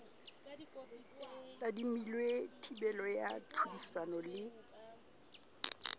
tadimilwe thibelo ya tlhodisano le